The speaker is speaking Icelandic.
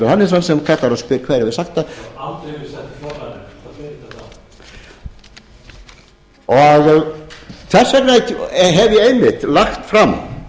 hannesson sem kallar og spyr hver ég hafi sagt það það hefur aldrei verið sagt og þess vegna hef ég einmitt lagt fram